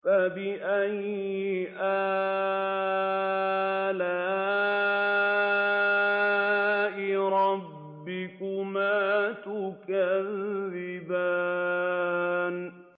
فَبِأَيِّ آلَاءِ رَبِّكُمَا تُكَذِّبَانِ